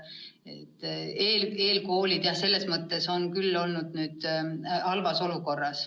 Eelkoolid on selles mõttes nüüd halvas olukorras.